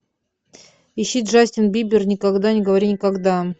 ищи джастин бибер никогда не говори никогда